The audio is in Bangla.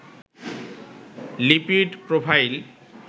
lipid profile